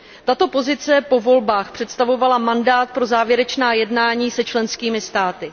Tento postoj po volbách představoval mandát pro závěrečná jednání s členskými státy.